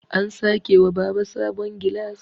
an sake wa Baba sabon gilas